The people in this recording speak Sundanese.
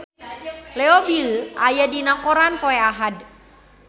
Leo Bill aya dina koran poe Ahad